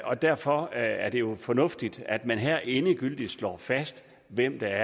og derfor er det jo fornuftigt at man her endegyldigt slår fast hvem der